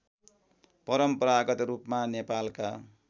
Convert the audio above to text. परम्परागत रूपमा नेपालका